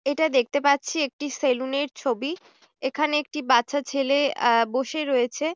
এটা দেখতে পাচ্ছি একটি সেলুন এর ছবি। এখানে একটি বাচ্চা ছেলে অ্যা বসে রয়েছে।